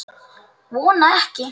Vona ekki.